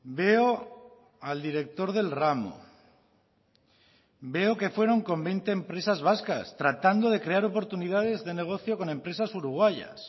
veo al director del ramo veo que fueron con veinte empresas vascas tratando de crear oportunidades de negocio con empresas uruguayas